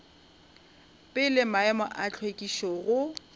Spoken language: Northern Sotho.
pele maemo a hlwekišo go